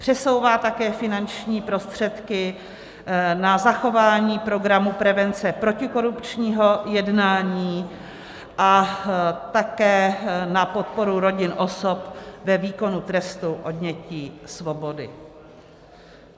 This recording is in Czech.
Přesouvá také finanční prostředky na zachování programu prevence protikorupčního jednání a také na podporu rodin osob ve výkonu trestu odnětí svobody.